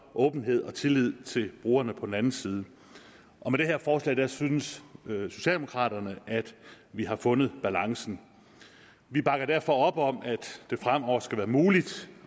åbenhed og tillid til brugerne på den anden side med det her forslag synes socialdemokraterne at vi har fundet balancen vi bakker derfor op om at det fremover skal være muligt